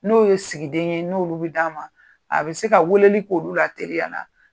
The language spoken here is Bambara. N'o ye sigiden ye n'olu bi d'a ma, a bɛ se ka weleli k'olu la teliya la.